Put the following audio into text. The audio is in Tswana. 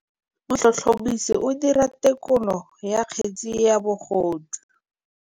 Motlhotlhomisi o dira têkolô ya kgetse ya bogodu.